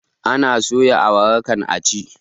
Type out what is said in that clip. Ana soya awara kan a ci